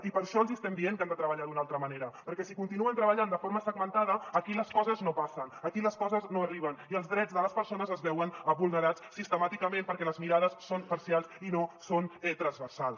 i per això els hi estem dient que han de treballar d’una altra manera perquè si continuen treballant de forma segmentada aquí les coses no passen aquí les coses no arriben i els drets de les persones es veuen vulnerats sistemàticament perquè les mirades són parcials i no són transversals